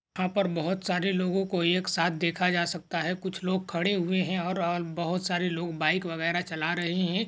यहा पर बहुत सारे लोगोंकों एक साथ देखा जा सकता है कुछ लोग खड़े हुए है और ओ बहुत सारे लोग बाइक वगैरा चला रहे है।